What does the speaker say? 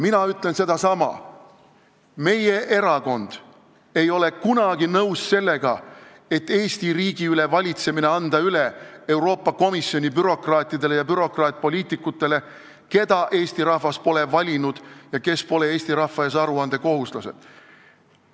Mina ütlen sedasama: meie erakond ei ole kunagi nõus sellega, et anda Eesti riigi valitsemine üle Euroopa Komisjoni bürokraatidele ja bürokraatpoliitikutele, keda Eesti rahvas pole valinud ja kes pole Eesti rahva ees aruandekohuslased.